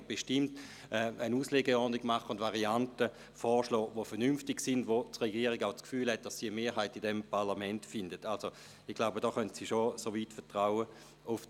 Aber was man ganz sicher nicht regeln muss, sind die drei Jahre und die 65 Prozent.